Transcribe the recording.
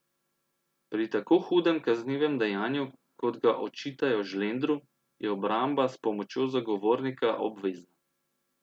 Pri tako hudem kaznivem dejanju, kot ga očitajo Žlendru, je obramba s pomočjo zagovornika obvezna.